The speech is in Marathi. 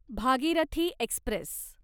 भागीरथी एक्स्प्रेस